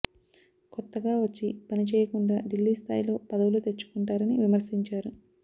కొత్తగా వచ్చి పని చేయకుండా ఢిల్లీ స్థాయిలో పదవులు తెచ్చుకుంటారని విమర్శించారు